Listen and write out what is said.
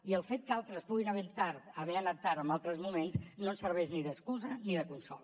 i el fet que altres puguin haver anat tard en altres moments no ens serveix ni d’excusa ni de consol